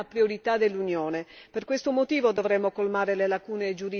Il rispetto dei diritti fondamentali della persona è una priorità dell'Unione.